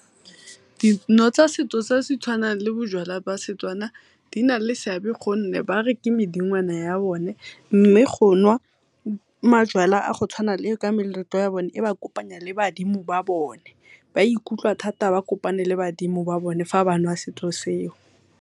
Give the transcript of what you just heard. Dino tsa setso tse setshwanang le bojalwa ba Setswana di na le seabe gonne ba re ke medingwana ya bone, mme go nwa majalwa a go tshwana le e ba kopanya le badimo ba bone ba ikutlwa thata ba kopane le badimo ba fa banwa setho seo.